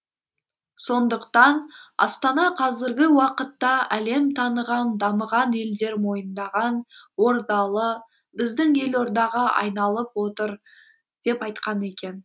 сондықтан астана қазіргі уақытта әлем таныған дамыған елдер мойындаған ордалы біздің елордаға айланып отыр деп айтқан екен